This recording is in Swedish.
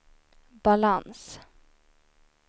balans